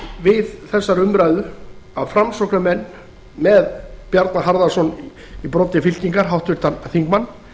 við þessa umræðu að framsóknarmenn með bjarna harðarson í broddi fylkingar háttvirtan þingmann